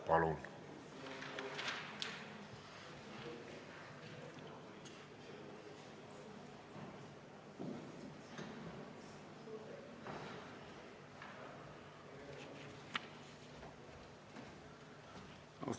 Palun!